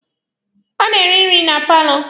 Ọ na-eri nri na paalọ.